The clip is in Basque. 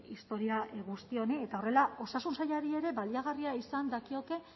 historia guzti honi eta horrela osasun sailari ere baliagarria izan dakioke